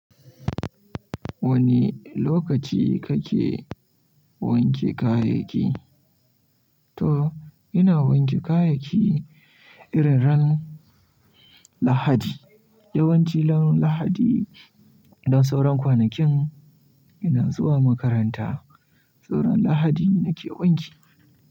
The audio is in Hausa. Wane lokaci kake wanke kayayyaki? To, ina wanke kayayyaki irin ran Lahadi. Yawanci ran Lahadi don sauran kwanakin ina zuwa makaranta. Ran Lahadi nake wanki.